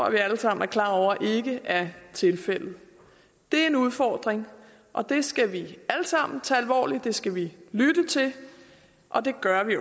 at vi alle sammen er klar over ikke er tilfældet det er en udfordring og den skal vi alle sammen tage alvorligt det skal vi lytte til og det gør vi